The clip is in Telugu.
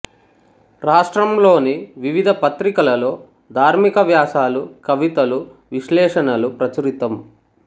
రాష్ట్రంలోని వివిధ పత్రికలలో ధార్మిక వ్యాసాలు కవితలు విశ్లేషణలు ప్రచురితం